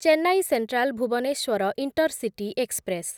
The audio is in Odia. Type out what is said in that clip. Chennai central Bhubaneswar intercity express